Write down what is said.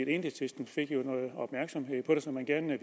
det enhedslisten fik jo noget opmærksomhed på det som man gerne